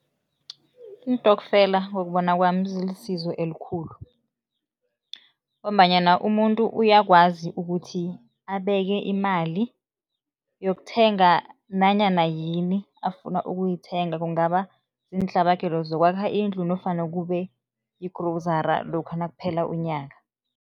Iintokfela ngokubona kwami, zilisizo elikhulu ngombanyana umuntu uyakwazi ukuthi abeke imali yokuthenga nanyana yini afuna ukuyithenga, kungaba ziintlabagelo zokwakha indlu nofana kube yigrowuzara lokha nakuphela unyaka.